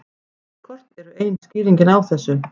Greiðslukort eru ein skýringin á þessu.